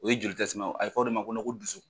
O ye joli a bɛ fɔ o de ma ko ko dusu.